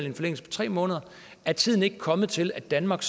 en forlængelse på tre måneder er tiden ikke kommet til at danmark